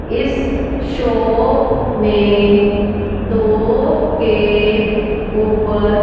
इस शॉप में दो केक ऊपर--